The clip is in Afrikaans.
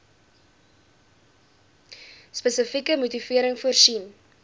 spesifieke motivering voorsien